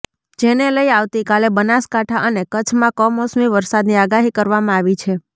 જેને લઇ આવતીકાલે બનાસકાંઠા અને કચ્છમાં કમોસમી વરસાદની આગાહી કરવામાં આવી છે